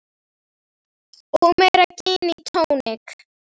Og meira gin og tónik.